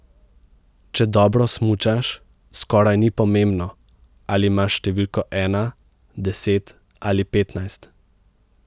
Če dobro smučaš, skoraj ni pomembno, ali imaš številko ena, deset ali petnajst.